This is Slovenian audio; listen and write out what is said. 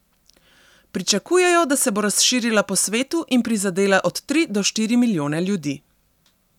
Pričakujejo, da se bo razširila po svetu in prizadela od tri do štiri milijone ljudi.